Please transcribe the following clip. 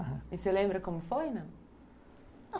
E você lembra como foi, não?